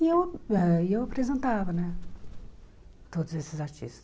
E eu eh e eu apresentava né todos esses artistas.